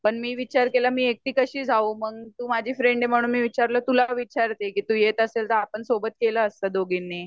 पण मी विचार केला मी एकटी कशी जाऊ मंग तू माझी फ्रेंड आहे म्हणून मी म्हटल तुला विचारते कि तू येत अशील तर आपण सोबत केला असता दोघीनी